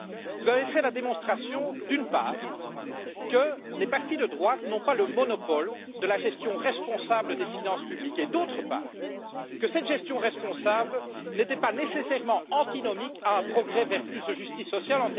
Vous avez fait la démonstration, d'une part, que les partis de droite n'ont pas le monopole de la gestion responsable des finances publiques et, d'autre part, que cette gestion responsable n'était pas nécessairement antinomique avec un progrès vers plus de justice sociale.